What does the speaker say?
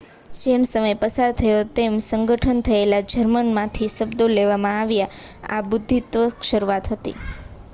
જેમ સમય પસાર થયો તેમ સંગઠન થયેલા જર્મનમાંથી શબ્દો લેવામાં આવ્યા આ બુદ્ધિત્વની શરૂઆત હતી